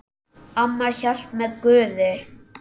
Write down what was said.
Amma hélt með Guði.